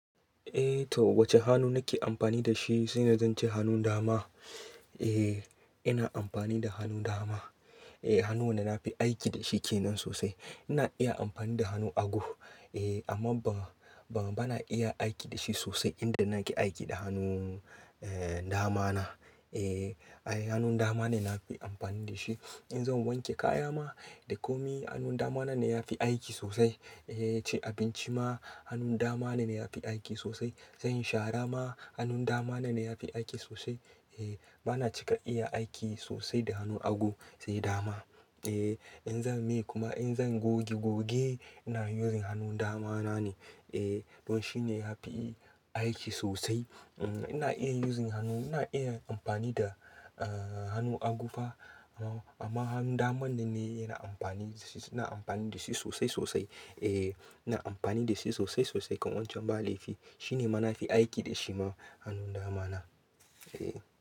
Eh to wacce hannu nake amfani da shi zai na zance hannun dama. Eh ina amfani da hannun dama. Eh hannu wanda na fi aiki da shi kenan sosai. Ina iya amfani da hannu hago eh amma ba, ba na iya aiki da shi sosai inda na ke aiki da hannun eh dama na. Eh ai hannun dama ne na ke amfani da shi. In zan wanke kaya ma da ƙomi hannun dama na ne ya fi aiki sosai. Eh ci abinci ma hannun dama na ne ya fi aiki sosai. Zan shara ma hannun dama na ne ya fi aiki sosai. Eh ba na cika iya aiki sosai da hannu ago sai dama. Eh in zan miƙa in zan goge goge ina using hannun dama na ne. Eh don shi ne ya fi aiki sosai. Mm ina iya using hannu, ina iya amfani da ah hannu agufa amma hannun dama na ne ina amfani da shi, ina amfani da shi sosai sosai. Eh ina amfani da shi sosai sosai kamar wancan ba laifi. Shi ne ma na fi aiki da shi ma hannun dama na. Eh.